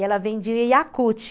E ela vendia Yakuti.